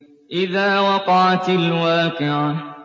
إِذَا وَقَعَتِ الْوَاقِعَةُ